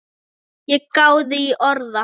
Ég gáði í orða